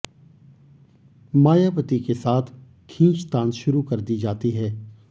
मायावती के साथ खींचतान शुरू कर दी जाती है